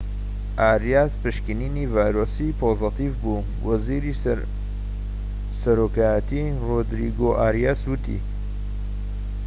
ئاریاس پشکنینی ڤایرۆسی پۆزەتیڤ بوو وەزیری سەرۆکایەتی رۆدریگۆ ئاریاس وتی